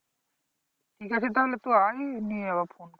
ঠিক আছে তাহলে তুই আই নিয়ে আবার phone কর